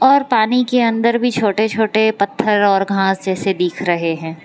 और पानी के अंदर भी छोटे-छोटे पत्थर और घास जैसे दिख रहे हैं।